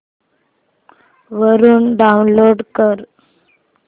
वरून डाऊनलोड कर